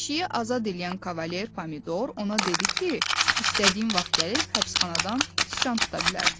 Pişiyi azad eləyən kavalier pomidor ona dedi ki, istədiyin vaxt gəlib həbsxanadan sıçan tuta bilərsən.